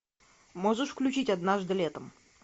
можешь включить однажды летом